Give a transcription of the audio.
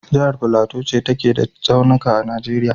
Jahar Plateau ce take da tsaunika a Najeriya.